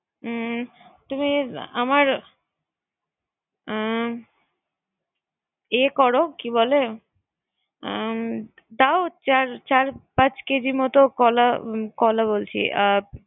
হুম তিমি আমার হুম এ কর কি বলে হুম চার চার পাচ কেজির মত কলা